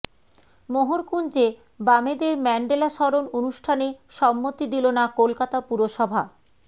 মোহরকুঞ্জে বামেদের ম্যান্ডেলা স্মরণ অনুষ্ঠানে সম্মতি দিল না কলকাতা পুরসভা